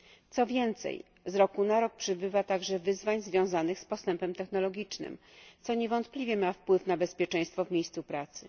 Co więcej, z roku na rok przybywa także wyzwań związanych z postępem technologicznym, co niewątpliwie ma wpływ na bezpieczeństwo w miejscu pracy.